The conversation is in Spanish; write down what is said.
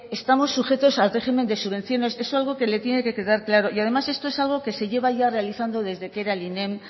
estamos sujetos al régimen de subvenciones eso es algo que le tiene que quedar claro y además esto es algo que se lleva ya realizando desde que era el inem